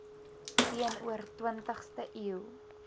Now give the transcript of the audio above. teenoor twintigste eeu